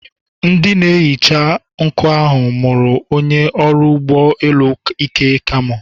Ndị na-ehicha nkụ ahụ mụrụ onye ọrụ ụgbọ elu Ike kamo.